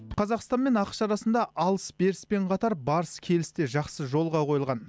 қазақстан мен ақш арасында алыс беріс пен қатар барыс келіс те жақсы жолға қойылған